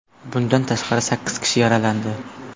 Bundan tashqari, sakkiz kishi yaralandi.